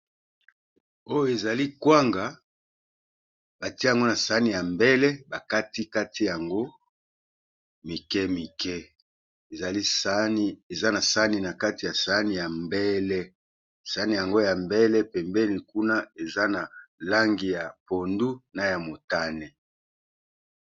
Oyo ezali kwanga batie yango na sani ya mbele ba kati kati yango mike mike, ezali sani eza na sani na kati ya sani ya mbele. Sani yango ya mbele pembeni kuna eza na langi ya pondu, na ya motane.